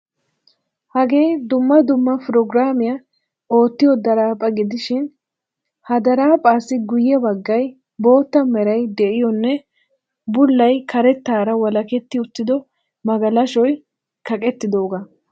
Hagee dumma dumma progiraamiya oottiyo daraphaa gidishin ha daraphphaassi guyye baggay bootta meray de'iyonne bullay karettaara walaketti uttido magalashoy kaqettidoogaa.